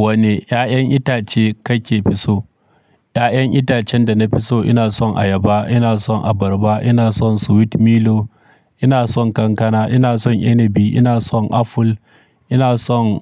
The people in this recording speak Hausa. Wane 'ya'yan itace kake fi so? 'Ya'yan itacen da na fi so, ina son ayaba, ina son abarba, ina son sweet melody, ina son kankana, ina son inabi, ina son aful, ina son